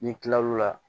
Ni n kila l'o la